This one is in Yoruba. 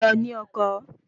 Lọ ní ọkọ